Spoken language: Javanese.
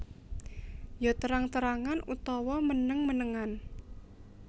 Ya terang terangan utawa meneng menengan